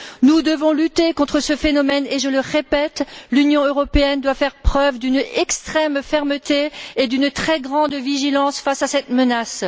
Nous devons lutter contre ce phénomène et, je le répète, l'Union européenne doit faire preuve d'une extrême fermeté et d'une très grande vigilance face à cette menace.